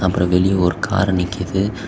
அப்பறம் வெளிய ஒரு கார்ரு நிக்குது.